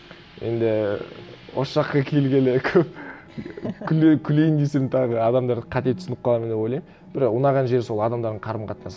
енді осы жаққа келгелі көп күлейін десең тағы адамдар қате түсініп қалады ма деп ойлаймын бірақ ұнаған жері сол адамдардың қарым қатынасы